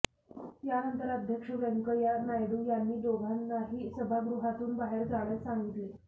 यानंतर अध्यक्ष व्यंकय्या नायडू यांनी दोघांनाही सभागृहातून बाहेर जाण्यास सांगितले